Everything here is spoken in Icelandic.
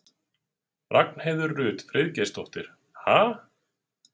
Ragnheiður Rut Friðgeirsdóttir: Ha?